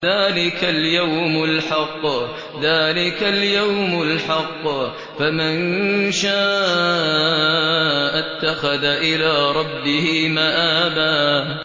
ذَٰلِكَ الْيَوْمُ الْحَقُّ ۖ فَمَن شَاءَ اتَّخَذَ إِلَىٰ رَبِّهِ مَآبًا